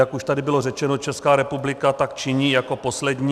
Jak už tady bylo řečeno, Česká republika tak činí jako poslední.